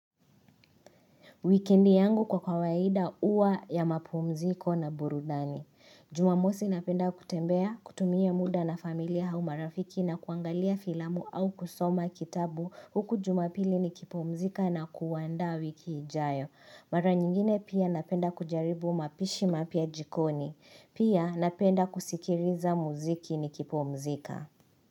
Wikendi yangu kwa kawaida uwa ya mapumziko na burudani. Jumamosi napenda kutembea, kutumia muda na familia au marafiki na kuangalia filamu au kusoma kitabu huku jumapili ni kipumzika na kuandaa wiki ijayo. Mara nyingine pia napenda kujaribu mapishi mapya jikoni. Pia napenda kusikiriza muziki ni kipumzika.